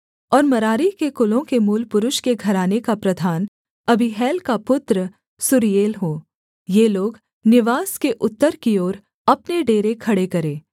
और मरारी के कुलों के मूलपुरुष के घराने का प्रधान अबीहैल का पुत्र सूरीएल हो ये लोग निवास के उत्तर की ओर अपने डेरे खड़े करें